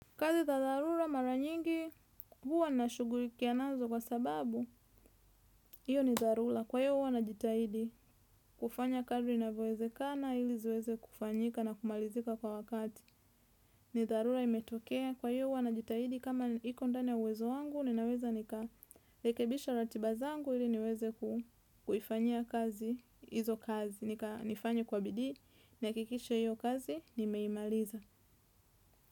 Kazi za dharura mara nyingi huwa nashugulikia nazo kwa sababu. Iyo ni dharura. Kwa hiyo huwa na jitahidi kufanya kadri navyowezekana ili ziweze kufanyika na kumalizika kwa wakati. Ni dharura imetokea. Kwa hiyo huwa najitahidi kama iko ndani ya uwezo wangu ninaweza nikarekebisha ratiba zangu ili niweze kuifanyia kazi izo kazi. Nifanye kwa bidii nihakikishe hiyo kazi nimeimaliza.